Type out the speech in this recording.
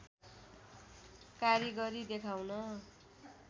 कारिगरी देखाउन